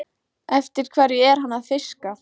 Eftir hverju er hann að fiska?